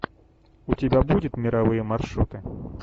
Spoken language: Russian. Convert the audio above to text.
у тебя будет мировые маршруты